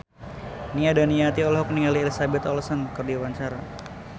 Nia Daniati olohok ningali Elizabeth Olsen keur diwawancara